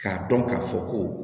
K'a dɔn k'a fɔ ko